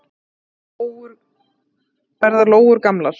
Hvað verða lóur gamlar?